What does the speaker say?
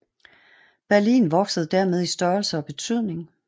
Berlin voksede dermed i størrelse og betydning